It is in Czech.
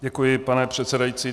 Děkuji, pane předsedající.